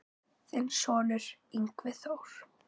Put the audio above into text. Þinn sonur, Yngvi Þór.